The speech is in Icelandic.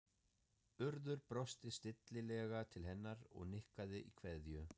Urður brosti stillilega til hennar og nikkaði í kveðju